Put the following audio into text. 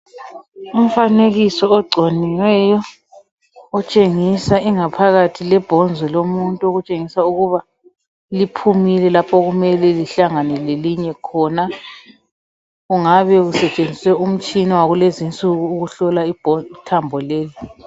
Umfanekiso ogconiweyo otshengisa ingaphakathi yethambo lomuntu okutshengisa ukuba liphumile lapho okumele lihlangane lelinye khona kungabe kusetshenziswe umtshina wakulezi nsuku ukuhlola ithambo leli.